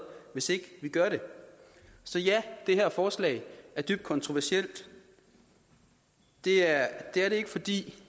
hvis ikke vi gør det så ja det her forslag er dybt kontroversielt det er ikke fordi